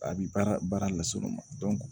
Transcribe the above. A bi baara las'olu ma